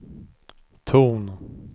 ton